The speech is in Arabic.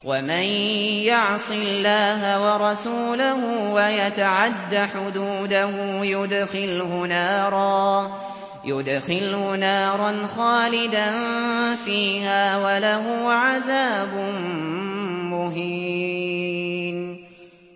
وَمَن يَعْصِ اللَّهَ وَرَسُولَهُ وَيَتَعَدَّ حُدُودَهُ يُدْخِلْهُ نَارًا خَالِدًا فِيهَا وَلَهُ عَذَابٌ مُّهِينٌ